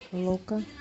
ну ка